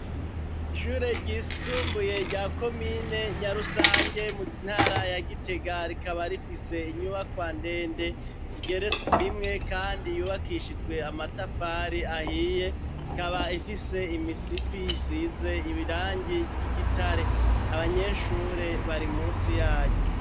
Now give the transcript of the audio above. Ishure ryisumbuye rya komine Nyarusange mu ntara ya Gitega rikaba rifise inyubakwa ndende igeretse rimwe kandi yubakishijwe amatafari ahiye, ikaba ifise imisipi isize ibirangi ry'igitare abanyeshure bari munsi yayo.